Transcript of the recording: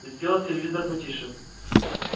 сделал телевизор потише